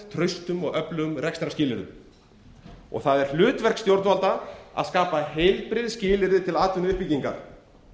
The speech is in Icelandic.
traustum og öflugum rekstrarskilyrðum það er hlutverk stjórnvalda að skapa heilbrigð skilyrði til atvinnuuppbyggingar